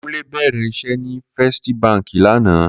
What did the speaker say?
Kunle bèrè iṣè ni Fèstí bànkí lànã